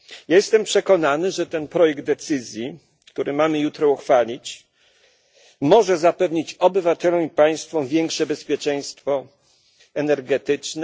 Jestem przekonany, że projekt decyzji, który mamy jutro uchwalić, może zapewnić obywatelom i państwom większe bezpieczeństwo energetyczne.